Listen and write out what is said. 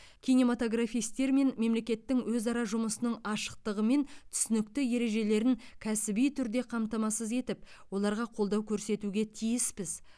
кинематографистер мен мемлекеттің өзара жұмысының ашықтығы мен түсінікті ережелерін кәсіби түрде қамтамасыз етіп оларға қолдау көрсетуге тиіспіз